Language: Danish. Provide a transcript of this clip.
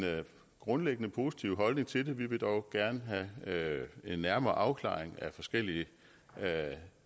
grundlæggende positiv holdning til det vi vil dog gerne have en nærmere afklaring af forskellige